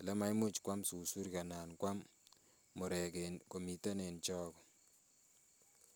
Ole maimuch kwam susurik anan kwam murek en komiten en chago.